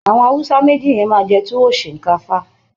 Àwọn Hausa méjì yen máa jẹ Tuwo Shinkafa